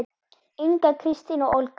Inga, Kristín og Olga.